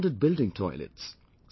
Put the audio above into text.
They demanded building toilets